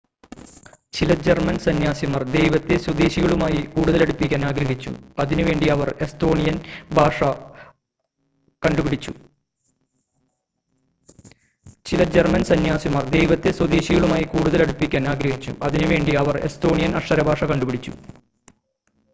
ചില ജർമ്മൻ സന്ന്യാസിമാർ ദൈവത്തെ സ്വദേശികളുമായി കൂടുതൽ അടുപ്പിക്കാൻ ആഗ്രഹിച്ചു അതിനുവേണ്ടി അവർ എസ്തോണിയൻ അക്ഷര ഭാഷ കണ്ടുപിടിച്ചു